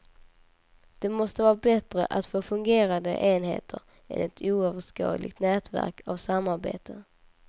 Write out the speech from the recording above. Det måste vara bättre att få fungerande enheter, än ett oöverskådligt nätverk av samarbete.